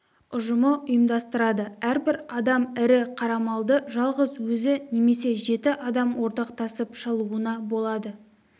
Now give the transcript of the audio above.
ұжымы ұйымдастырады әрбір адам ірі қара малды жалғыз өзі немесе жеті адам ортақтасып шалуына болады